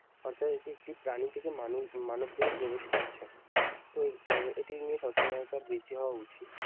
অর্থাৎ এটি একটি প্রাণী থেকে মানু মানব দেহে প্রবেশ করছে। তো হম এটি নিয়ে সচেতনতা বৃদ্ধি হওয়া উচিত।